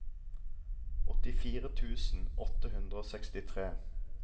åttifire tusen åtte hundre og sekstitre